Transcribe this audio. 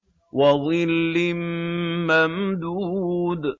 وَظِلٍّ مَّمْدُودٍ